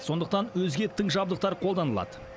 сондықтан өзге тың жабдықтар қолданылады